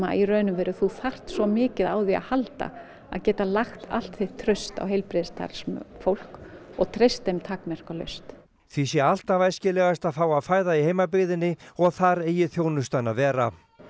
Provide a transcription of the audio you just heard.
í raun og veru þú þarft svo mikið á því að halda að geta lagt allt þitt traust á heilbrigðisstarfsfólk og treyst þeim takmarkalaust því sé alltaf æskilegast að fá að fæða í heimabyggðinni og þar eigi þjónustan að vera